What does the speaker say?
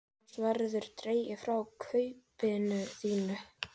Annars verður dregið frá kaupinu þínu.